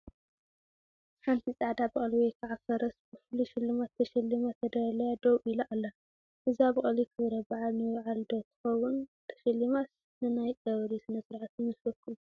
ሓንቲ ፃዕዳ በቕሊ ወይ ከዓ ፈረስ ብፍሉይ ሽልማት ተሸሊማ ተዳልያ ደው ኢላ ኣላ፡፡ እዛ በቕሊ ኽብረባዓል ንምብዓል ዶ ትኸውን ተሸሊማስ ንናይ ቀብሪ ስነስርዓትይመስለኩም?